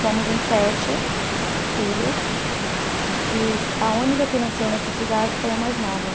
Somos em sete filhos e a única que nasceu nessa cidade foi a mais nova.